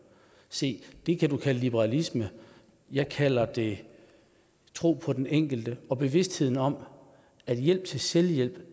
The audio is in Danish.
se det kan man kalde liberalisme jeg kalder det tro på den enkelte og bevidstheden om at hjælp til selvhjælp i